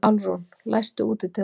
Álfrún, læstu útidyrunum.